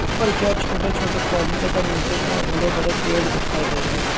ऊपर क्या छोटे छोटे पौधे तथा नीचे क्या बड़े बड़े पेड़ दिखाई दे रहे है।